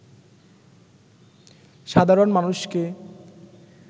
সাধারণ মানুষকে